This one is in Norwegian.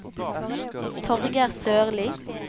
Torger Sørli